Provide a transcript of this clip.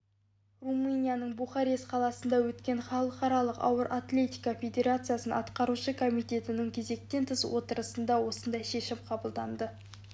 румынияның бухарест қаласында өткен халықаралық ауыр атлетика федерациясы атқарушы комитетінің кезектен тыс отырысында осындай шешім қабылданды